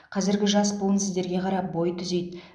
қазіргі жас буын сіздерге қарап бой түзейді